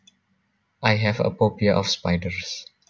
I have a phobia of spiders